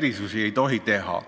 erisusi ei tohi teha.